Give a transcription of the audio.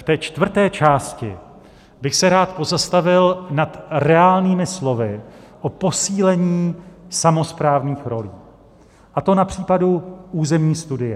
Ve čtvrté části bych se rád pozastavil nad reálnými slovy o posílení samosprávních rolí, a to na případu územní studie.